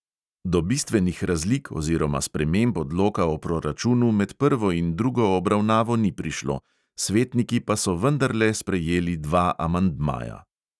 Do bistvenih razlik oziroma sprememb odloka o proračunu med prvo in drugo obravnavo ni prišlo, svetniki pa so vendarle sprejeli dva amandmaja.